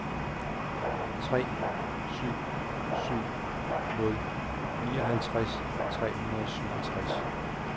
tre syv syv nul nioghalvtreds tre hundrede og syvogtres